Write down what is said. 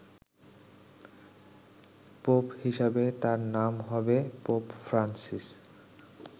Pope হিসাবে তাঁর নাম হবে পোপ ফ্রান্সিস।